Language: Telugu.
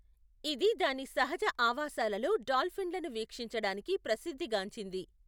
ఇది దాని సహజ ఆవాసాలలో డాల్ఫిన్లను వీక్షించడానికి ప్రసిద్ధిగాంచింది.